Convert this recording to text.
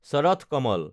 Sharath Kamal